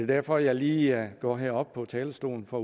derfor jeg lige går herop på talerstolen for